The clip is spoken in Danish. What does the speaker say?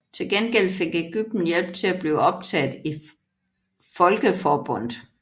Til gengæld fik Ægypten hjælp til at blive optaget i Folkeforbundet